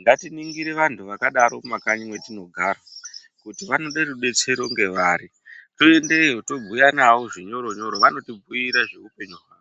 ngatiningire vanhu zvakadaro mumakanyi mwatinogara kuti vanode rudetsero ndevari toendeyo tobhuya navo zvinyoro nyoro vanotibhiire zveupenyu hwawo.